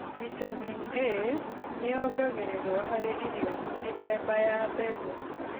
Vitamini A nĩ yongagĩrĩrwo harĩ irio mĩthemba ya mbegũ.